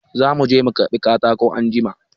Za mu je mu karɓi katako anjima.